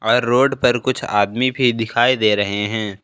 और रोड पर कुछ आदमी भी दिखाई दे रहे हैं।